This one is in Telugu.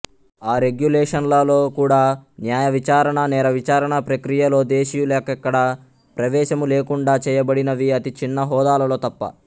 ఆ రెగ్యులేషన్లలో కూడా న్యాయవిచారణ నేర విచారణ ప్రక్రియలో దేశీయులకెక్కడా ప్రవేశములేకుండా చేయబడినవి అతి చిన్న హోదాలలో తప్ప